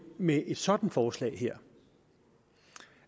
med et sådant forslag her